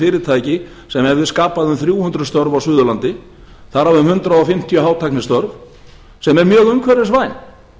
fyrirtæki sem hefðu skapað um þrjú hundruð störf á suðurlandi þar af um hundrað fimmtíu hátæknistörf sem eru mjög umhverfisvæn